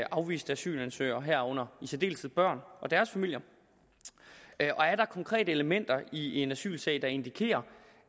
afviste asylansøgere herunder i særdeleshed børn og deres familier og er der konkrete elementer i en asylsag der indikerer